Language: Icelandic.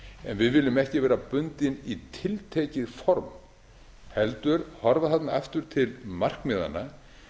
en við viljum ekki vera bundin í tiltekið form heldur horfa þarna aftur til markmiðanna